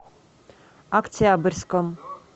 октябрьском